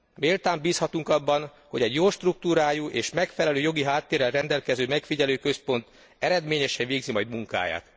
Méltán bízhatunk abban, hogy egy jó struktúrájú és megfelelő jogi háttérrel rendelkező megfigyelőközpont eredményesen végzi majd munkáját.